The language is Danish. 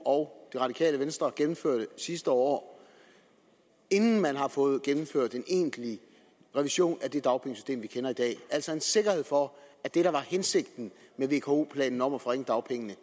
og det radikale venstre gennemførte sidste år inden man har fået gennemført en egentlig revision af det dagpengesystem vi kender i dag altså en sikkerhed for at det der var hensigten med vko planen om at forringe dagpengene